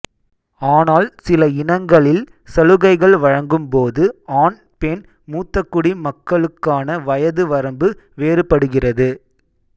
ஆனால் சில இனங்களில் சலுகைகள் வழங்கும் போது ஆண் பெண் மூத்தகுடி மக்களுக்கான வயது வரம்பு வேறுபடுகிறது